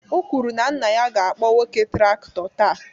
O kwuru na nna ya ga-akpọ nwoke traktọ taa.